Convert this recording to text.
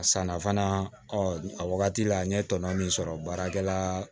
A sanna fana a wagati la n ye tɔnɔ min sɔrɔ baarakɛla